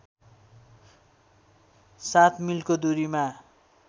००७ मिलको दूरीमा